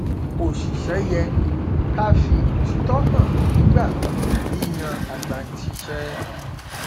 oṣìṣẹ yẹ ká fi òtítọ hàn nígbà yíyan agbanisíṣẹ